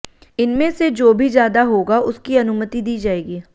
इनमें से जो भी ज्यादा होगा उसकी अनुमति दी जाएगी